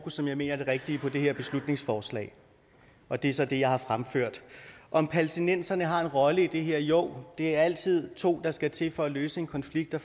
som jeg mener er det rigtige i det her beslutningsforslag og det er så det jeg har fremført om palæstinenserne har en rolle i det her jo det er altid to der skal til for at løse en konflikt og